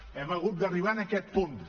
hem hagut d’arribar en aquest punt